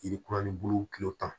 Yiri kuraninbulu kilo tan